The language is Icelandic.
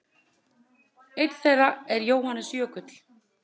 Einn þeirra er Jóhannes Jökull.